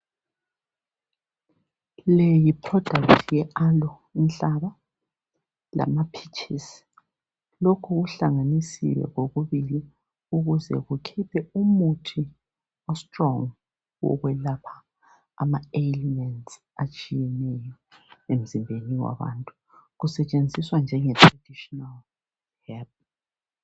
Leyi yi product ye aloe, inhlaba lama peaches lokhu kuhlanganisiwe kokubili ukuze kukhiphe umuthi o strong ukwelapha ama aliens atshiyeneyo emzimbeni wabantu, kusetshenziswa njenge traditional herb.